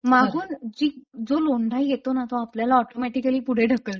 मागून जी जो लोंढा येतोना तो आपल्याला ऑटोमॅटिकली पुढे ढकलतो.